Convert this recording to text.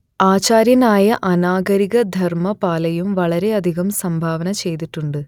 ആചാര്യനായ അനാഗരിക ധർമ്മപാലയും വളരെയധികം സംഭാവന ചെയ്തിട്ടുണ്ട്